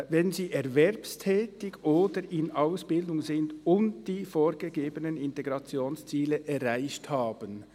] wenn sie erwerbstätig oder in Ausbildung sind und die vorgegebenen Integrationsziele erreicht haben.